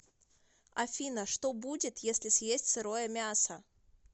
афина что будет если съесть сырое мясо